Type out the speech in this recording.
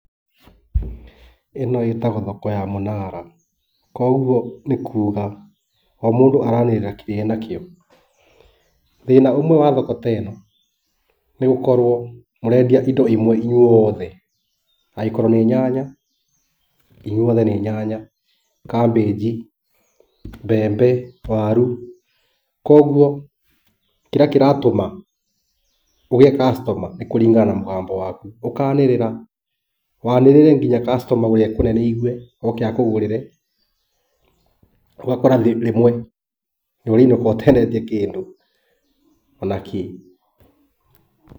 Ĩno ĩtagũo thoko ya mũnara, koguo nĩ kuga o mũndũ araanĩrĩra kĩrĩa e na kĩo. Thĩna ũmwe wa thoko ta ĩ no nĩ gũkorũo mũrendia indo imwe inyuothe, angĩkorũo ni nyanya inyuothe nĩ nyanya, cabbage, mbembe, waru, koguo kĩrĩa kĩratũma ũgĩe customer nĩ kũringana na mũgambo waku. Ũkaanĩrĩra waanĩrĩre nginya customer ũrĩa e kũnene aigue oke akũgũrĩre. Ũgakora rĩmwe nĩ ũrainũka ũtendetie kĩndũ ona kĩ.